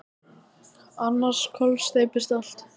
Annars kollsteypist allt.